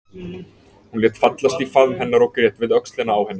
Hún lét fallast í faðm hennar og grét við öxlina á henni.